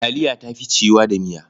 Taliya ta fi ciwuwa da miya.